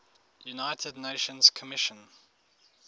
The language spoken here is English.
united nations commission